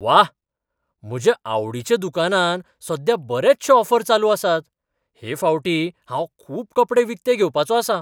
व्वा! म्हज्या आवडीच्या दुकानांत सद्या बरेचशे ऑफर चालू आसात. हे फावटी हांव खूब कपडे विकते घेवपाचो आसां.